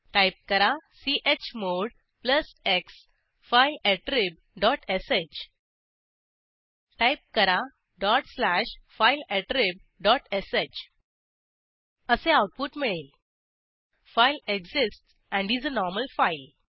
type करा chmod plus x file attrib dot sh type करा dot slash file attrib dot sh असे output मिळेल file exists and is a normal file